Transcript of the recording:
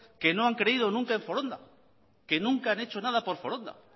que no han creído nunca en foronda que nunca han hecho nada por foronda